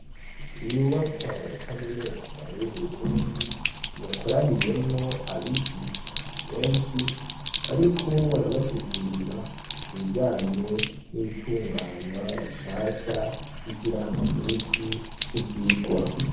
Inyubaka ya kaminuza y'uburundi iyakoraniyemwo abigisha benshi bariko barabasigurira kubijanywe n'itunganywa rishasha ry'ikiranga misi c'ivyirwa.